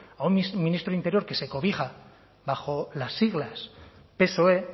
a un ministro de interior que se cobija bajo las siglas psoe